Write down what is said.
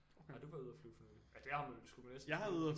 Har du været ude og flyve for nylig? Ja det har skulle man næsten tro